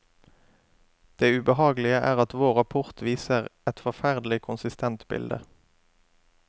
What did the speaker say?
Det ubehagelige er at vår rapport viser et forferdelig konsistent bilde.